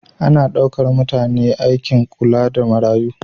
Ana ɗaukar mutane aikin kula da marayu.